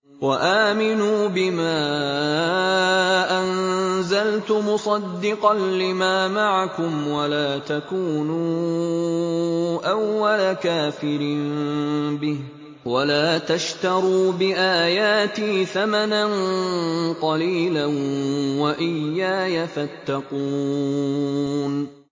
وَآمِنُوا بِمَا أَنزَلْتُ مُصَدِّقًا لِّمَا مَعَكُمْ وَلَا تَكُونُوا أَوَّلَ كَافِرٍ بِهِ ۖ وَلَا تَشْتَرُوا بِآيَاتِي ثَمَنًا قَلِيلًا وَإِيَّايَ فَاتَّقُونِ